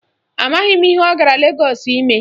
Amaghị m ihe ọ gara Legọọsụ ime.